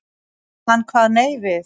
Hann kvað nei við.